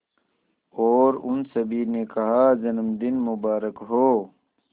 और उन सभी ने कहा जन्मदिन मुबारक हो